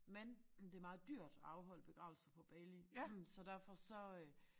Men det meget dyrt at afholde begravelser på Bali så derfor så øh